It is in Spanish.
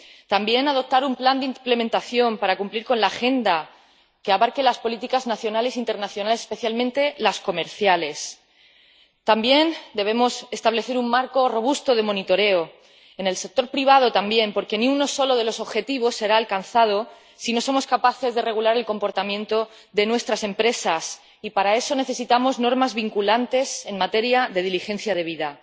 También debemos adoptar un plan de implementación para cumplir la agenda que abarque las políticas nacionales e internacionales, especialmente las comerciales, y establecer un marco robusto de monitoreo, en el sector privado también, porque ni uno solo de los objetivos se alcanzará si no somos capaces de regular el comportamiento de nuestras empresas, y para eso necesitamos normas vinculantes en materia de diligencia debida.